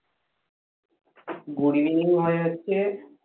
good evening হয় হচ্ছে।